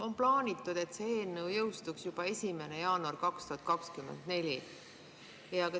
On plaanitud, et see eelnõu jõustuks juba 1. jaanuaril 2024.